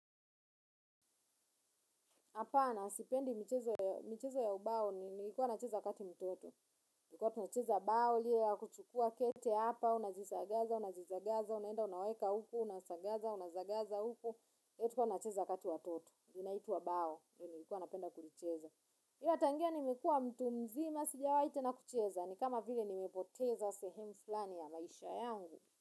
Hapana, sipendi michezo ya ubao, nilikuwa nacheza wakati mtoto. Tulikuwa tunacheza bao, ile ya kuchukua kete hapa, unazizagaza, unazizagaza, unenda unaweka huko, unasagaza, unazagaza huko. Tulikuwa tunacheza kati watoto, inaitwa bawa nilikuwa napenda kulicheza. Ila tangia nimekuwa mtu mzima, sijawahi tena kucheza, ni kama vile nimepoteza sehemu fulani ya maisha yangu.